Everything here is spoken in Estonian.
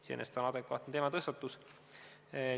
Iseenesest on see adekvaatne teematõstatus.